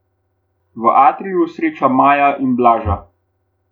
V atriju sreča Maja in Blaža.